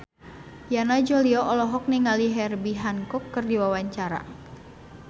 Yana Julio olohok ningali Herbie Hancock keur diwawancara